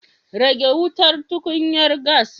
Rage wutar tukunyar gas